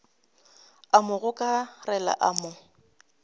a mo gokarela a mo